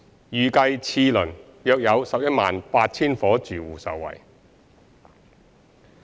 預計次輪約有 118,000 伙住戶受惠。